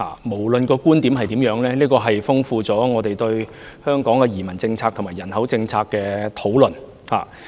無論其觀點如何，也豐富了我們對本港移民政策和人口政策的討論。